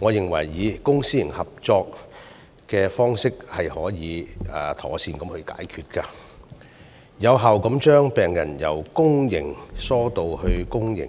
我認為公私營合營方式可以妥善解決這些問題，有效地將病人由公營醫療系統疏導至公私